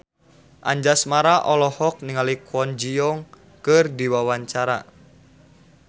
Anjasmara olohok ningali Kwon Ji Yong keur diwawancara